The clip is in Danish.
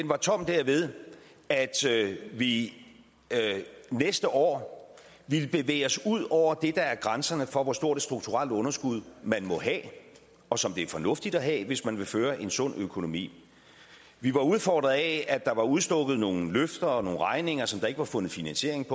var tom derved at vi næste år ville bevæge os ud over det der er grænsen for hvor stort et strukturelt underskud man må have og som det er fornuftigt at have hvis man vil føre en sund økonomi vi var udfordret af at der var udstukket nogle løfter og nogle regninger som der ikke var fundet finanisering